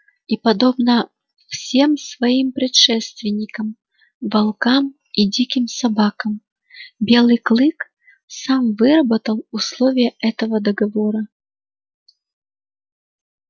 и подобно всем своим предшественникам волкам и диким собакам белый клык сам выработал условия этого договора